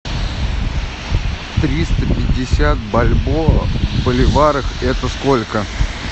триста пятьдесят бальбоа в боливарах это сколько